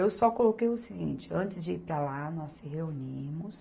Eu só coloquei o seguinte, antes de ir para lá, nós se reunimos,